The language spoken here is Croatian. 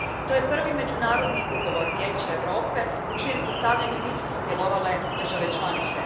To je prvi međunarodni ugovor Vijeća Europe u čijem sastavljanju nisu sudjelovale države članice.